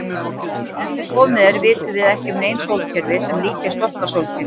Enn sem komið er vitum við ekki um nein sólkerfi sem líkjast okkar sólkerfi.